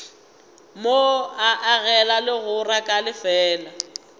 mo agela legora ka lefeela